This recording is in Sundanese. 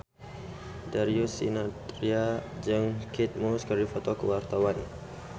Darius Sinathrya jeung Kate Moss keur dipoto ku wartawan